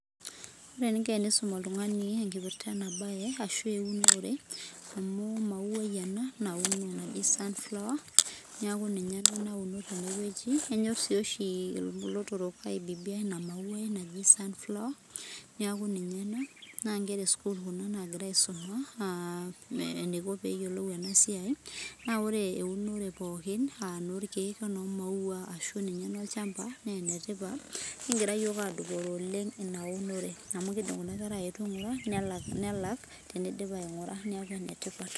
Ore eninko enisum oltung'ani enkipirta enabae, ashu eunore, amu emauai ena nauno naji sunflower, neeku ninye ena nauno tenewueji. Enyor si oshi ilotorok aibibia ina mauai naji sunflower, neeku ninye ena. Nankera esukuul kuna nagira aisuma, eniko peyiolou enasiai, na ore eunore pookin, ah enorkeek enomaua ashu ninye enolchamba, nenetipat. Kigira yiok adupore oleng inaunore. Amu kidim kuna kera aetu aing'ura, nelak tenidip aing'ura. Neeku enetipat.